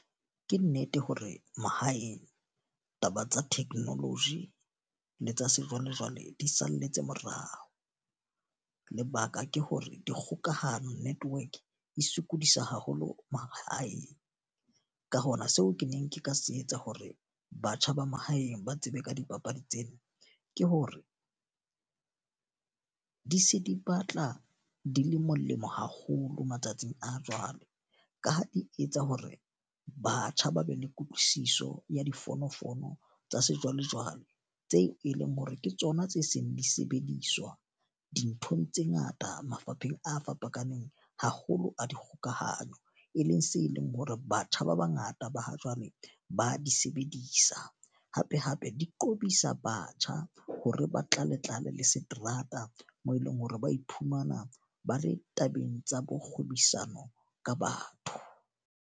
Ke nnete hore mahaeng, taba tsa technology le tsa sejwalejwale di salletse morao. Lebaka ke hore dikgokahano network e sokodisa haholo mahaeng. Ka hona seo ke neng ke ka se etsa hore batjha ba mahaeng ba tsebe ka dipapadi tsena. Ke hore di se di batla di le molemo haholo matsatsing a jwale. Ka ho di etsa hore batjha ba be le kutlwisiso ya difonofono tsa sejwalejwale, tseo e leng hore ke tsona tse seng di sebediswa dinthong tse ngata mafapheng a fapakaneng haholo a dikgokahanyo. E leng se leng hore batjha ba ba ngata ba ha jwale ba di sebedisa. Hape hape di qobisa batjha hore ba tlale-tlale le seterata moo eleng hore ba iphumana ba le tabeng tsa bo kgobisano ka batho.